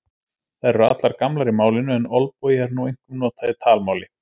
Þær eru allar gamlar í málinu en olbogi er nú einkum notað í talmáli.